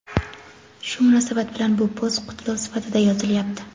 Shu munosabat bilan bu post qutlov sifatida yozilyapti.